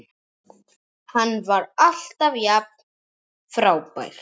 Hann var alltaf jafn frábær.